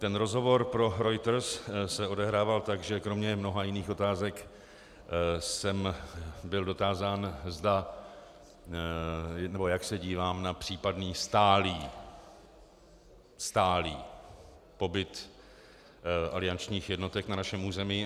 Ten rozhovor pro Reuters se odehrával tak, že kromě mnoha jiných otázek jsem byl dotázán, jak se dívám na případný stálý - stálý - pobyt aliančních jednotek na našem území.